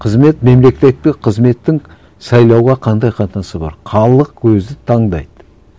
қызмет мемлекеттік қызметтің сайлауға қандай қатынасы бар халық өзі таңдайды